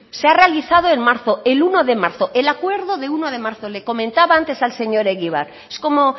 se ha realizado en marzo el uno de marzo el acuerdo de uno de marzo le comentaba antes al señor egibar es como